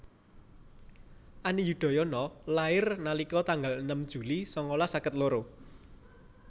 Ani Yudhoyono lahir nalika tanggal enem Juli sangalas seket loro